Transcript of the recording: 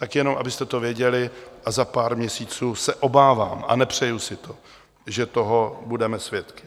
Tak jenom abyste to věděli, a za pár měsíců se obávám, a nepřeju si to, že toho budeme svědky.